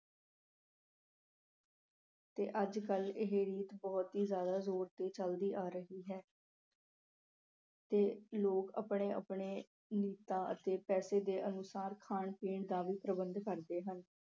ਤੇ ਅੱਜ ਕੱਲ੍ਹ ਇਹ ਰੀਤ ਬਹੁਤ ਹੀ ਜ਼ਿਆਦਾ ਜ਼ੋਰ ਤੇ ਚੱਲਦੀ ਆ ਰਹੀ ਹੈ ਤੇ ਲੋਕ ਆਪਣੇ- ਆਪਣੇ ਅਤੇ ਪੈਸੇ ਦੇ ਅਨੁਸਾਰ ਖਾਣ ਪੀਣ ਦਾ ਵੀ ਪ੍ਰਬੰਧ ਕਰਦੇ ਹਨ।